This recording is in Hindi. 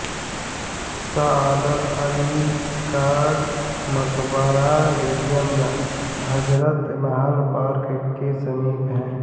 सआदत अली का मकबरा बेगम हजरत महल पार्क के समीप है